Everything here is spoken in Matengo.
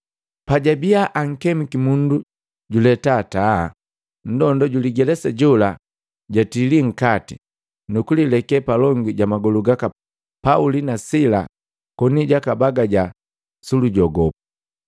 Pajabiya ankemiki mundu juletaa taa, nndonda juligelesa jola jatili nkati, nukulileke palongi jamagolu gaka Pauli na Sila koni jaka bagaja sulu jogopu.